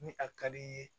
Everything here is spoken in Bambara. Ni a ka di i ye